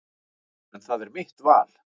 En það er mitt val.